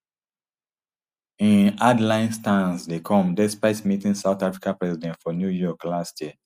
im hardline stance dey come despite meeting south africa president for new york last year